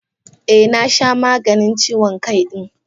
Eh, na sha maganin ciwon Kai din.